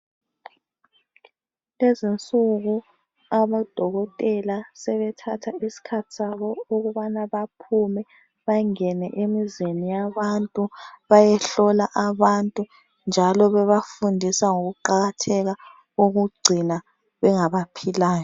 Kulezinsuku abodokotela sebethatha isikhathi sabo ukubana baphume bangene emizini yabantu bayehlola abantu njalo bebafundisa ngokuqakatheka kokugcina bengabaphilayo.